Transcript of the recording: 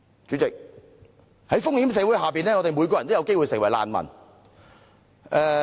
主席，在風險社會下，我們每個人都有機會成為難民。